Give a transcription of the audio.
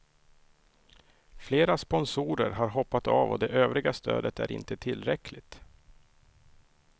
Flera sponsorer har hoppat av och det övriga stödet är inte tillräckligt.